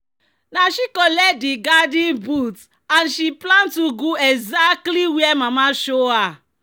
"na she collect di garden boot and she plant ugu exactly where mama show her."